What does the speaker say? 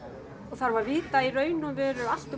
þarf að vita í raun og veru allt